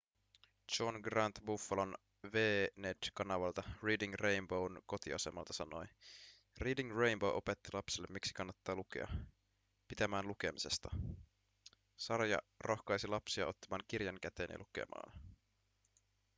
john grant buffalon wned-kanavalta reading rainbow'n kotiasemalta sanoi: reading rainbow opetti lapsille miksi kannattaa lukea –– pitämään lukemisesta – [sarja] rohkaisi lapsia ottamaan kirjan käteen ja lukemaan.